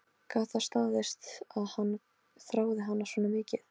Gat það staðist að hann þráði hana svona mikið?